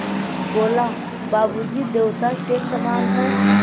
बोला बाबू जी देवता के समान हैं